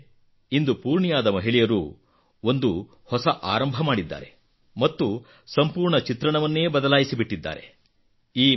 ಆದರೆ ಇಂದು ಪೂರ್ಣಿಯಾದ ಮಹಿಳೆಯರು ಒಂದು ಹೊಸ ಆರಂಭ ಮಾಡಿದ್ದಾರೆ ಮತ್ತು ಸಂಪೂರ್ಣ ಚಿತ್ರಣವನ್ನೇ ಬದಲಾಯಿಸಿ ಬಿಟ್ಟಿದ್ದಾರೆ